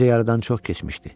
Gecə yarıdan çox keçmişdi.